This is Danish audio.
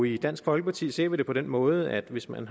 i dansk folkeparti ser vi det på den måde at hvis man